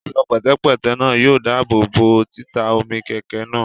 Ẹ̀ṣọ́ pẹ̀tẹ̀pẹ́tẹ̀ náà yóò dáàbòbò títa omi kẹ̀kẹ́ náà